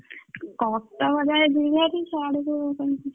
କଟକ ଯାଏ ଯିବି ଭାରି ସାଡୁକୁ କେମିତି ଯିବି?